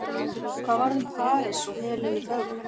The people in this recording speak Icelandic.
hvað varð um parís og helenu fögru